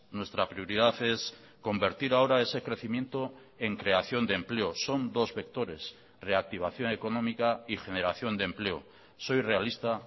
nuestra prioridad es convertir ahora ese crecimiento en creación de empleo son dos vectores reactivación económica y generación de empleo soy realista